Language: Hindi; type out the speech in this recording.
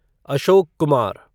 अशोक कुमार